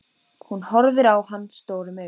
Hún horfir á hann stórum augum.